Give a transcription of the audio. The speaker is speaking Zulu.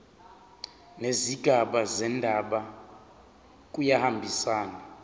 nezigaba zendaba kuyahambisana